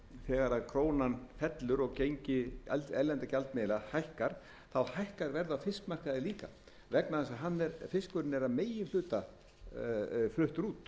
þegar krónan fellur og erlendra gjaldmiðla hækka hækkar verð á fiskmarkaði líka vegna ef að fiskurinn er að meginhluta fluttur út